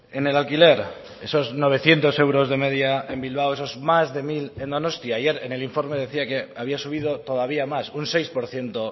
en el alquiler esos novecientos euros de media en bilbao esos más de mil en donostia ayer en el informe decía que había subido todavía más un seis por ciento